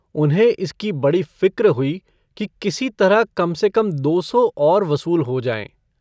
उन्हें इसकी बड़ी फ़िक्र हुई कि किसी तरह कम से कम दो सौ और वसूल हो जाएँ।